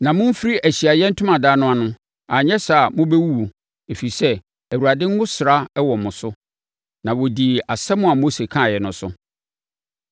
Na mommfiri Ahyiaeɛ Ntomadan no ano, anyɛ saa a mobɛwuwu, ɛfiri sɛ, Awurade ngosra wɔ mo so.” Na wɔdii asɛm a Mose kaeɛ no so.